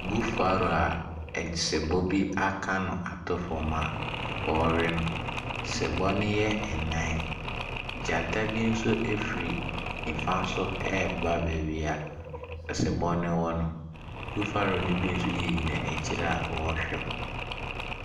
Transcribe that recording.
Buffalo a sebɔ bi aka no ato fam a ɔrewe no. Sebɔ no yɛ nnan. Gyata bi nso firi nifa so reba baabi a asebɔ no wɔ no. Buffalo no bi nso gyinagyina akyire a wɔrehwɛ hɔ.